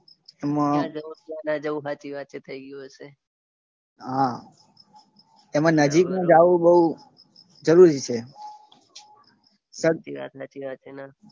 એમાં ક્યાં જવું ક્યાં ના જવું હાચી વાત છે થઈ ગયું હશે. હા એમાં નજીકનું જવું બઉ જરૂરી છે. સાચી વાત સાચી વાત છે.